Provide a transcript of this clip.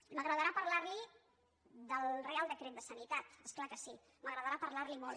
m’agradarà parlar li del reial decret de sanitat és clar que sí m’agradarà parlar li’n molt